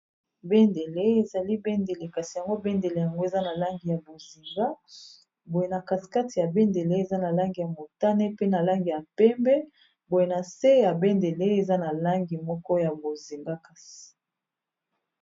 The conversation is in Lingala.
Bendele ezali bendele kasi yango bendele yango eza na langi ya bozinga boye na-kasikati ya bendele eza na langi ya motane pe na langi ya pembe boye na se ya bendele eza na langi moko ya bozinga kasi.